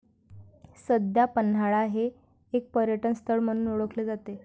सध्या पन्हाळा हे एक पर्यटनस्थळ म्हणून ओळखले जाते.